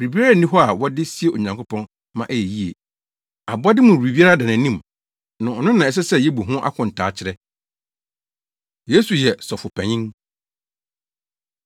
Biribiara nni hɔ a wɔde sie Onyankopɔn ma ɛyɛ yiye. Abɔde mu biribiara da nʼanim na ɔno na ɛsɛ sɛ yebu ho akontaa kyerɛ. Yesu Yɛn Sɔfopanyin